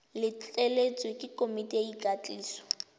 letleletswe ke komiti ya ikwadiso